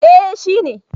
Eh shi ne.